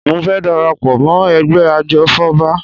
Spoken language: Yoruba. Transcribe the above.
Mo fẹ́ dara pọ̀ mọ́ ẹgbẹ́ ajòfọ́ba